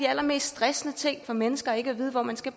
allermest stressende ting for mennesker ikke at vide hvor man skal